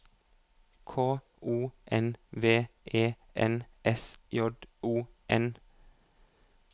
K O N V E N S J O N